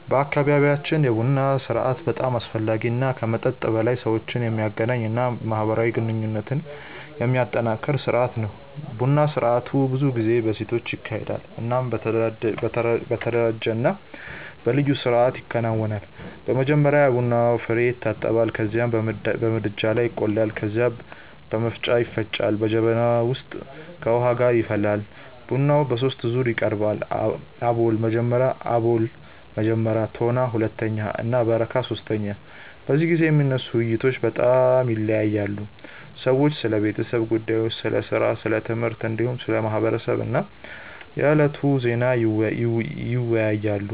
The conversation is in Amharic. በአካባቢያችን የቡና ስርአት በጣም አስፈላጊ እና ከመጠጥ በላይ ሰዎችን የሚያገናኝ እና ማህበራዊ ግንኙነትን የሚያጠናክር ስርአት ነው። ቡና ስርአቱ ብዙ ጊዜ በሴቶች ይካሄዳል እናም በተደራጀ እና በልዩ ስርአት ይከናወናል። መጀመሪያ የቡና ፍሬዉ ይታጠባል ከዚያም በምድጃ ላይ ይቆላል። ከዚያ በመፍጫ ይፈጭና በጀበና ውስጥ ከውሃ ጋር ይፈላል። ቡናው በሶስት ዙር ይቀርባል፤ አቦል (መጀመሪያ)፣ ቶና (ሁለተኛ) እና በረካ (ሶስተኛ)። በዚህ ጊዜ የሚነሱ ውይይቶች በጣም ይለያያሉ። ሰዎች ስለ ቤተሰብ ጉዳዮች፣ ስለ ሥራ፣ ስለ ትምህርት፣ እንዲሁም ስለ ማህበረሰብ እና የዕለቱ ዜና ይወያያሉ።